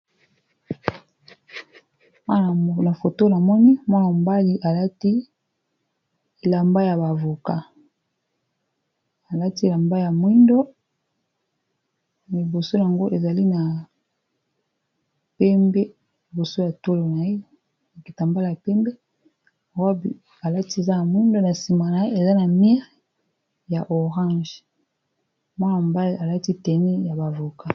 Mwana foto n amoni mwana mobali alati elamba ya bavoka alati lamba ya mwindo, miboso yango ezali na pembe, liboso ya tolo nayeaetambala ya pembe robi alati eza na mwindo na nsima na ye eza na mire ya orange mwana mobali alati teni ya bavoka.